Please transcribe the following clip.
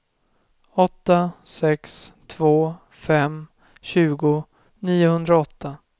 åtta sex två fem tjugo niohundraåtta